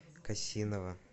косинова